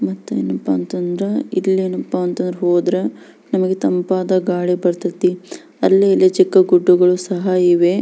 ಮತ್ತೆ ಏನಪ್ಪಾ ಅಂದ್ರೆ ಇಲ್ಲೇನಾಪ್ಪ್ಪ ಅಂದ್ರ ಹೋದ್ರ ನಮಗೆ ತಂಪಾದ ಗಾಳಿ ಬರತೈತಿ. ಅಲ್ಲಿ ಇಲ್ಲಿ ಚಿಕ್ಕ ಗುಡ್ಡಗಳು ಸಹ ಇವೆ.